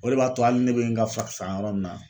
O re b'a to hali ne bɛ n ka fura san yɔrɔ min na